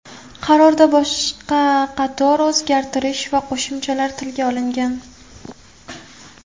Qarorda boshqa qator o‘zgartish va qo‘shimchalar tilga olingan.